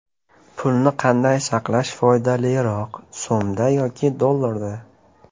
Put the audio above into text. Pulni qanday saqlash foydaliroq: So‘mda yoki dollarda?.